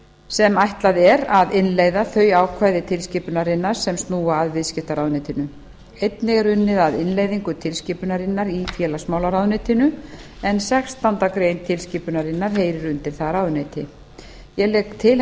sem ætlað er að innleiða þau ákvæði tilskipunarinnar sem snúa að viðskiptaráðuneytinu einnig er unnið að innleiðingu tilskipunarinnar í félagsmálaráðuneytinu en sextándu grein tilskipunarinnar heyrir undir það ráðuneyti ég legg til